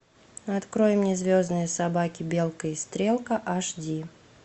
открой мне звездные собаки белка и стрелка аш ди